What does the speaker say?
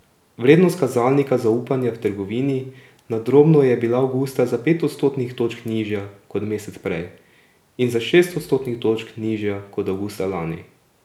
Vrednost kazalnika zaupanja v trgovini na drobno je bila avgusta za pet odstotnih točk nižja kot mesec prej in za šest odstotnih točk nižja kot avgusta lani.